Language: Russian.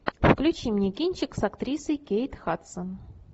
включи мне кинчик с актрисой кейт хадсон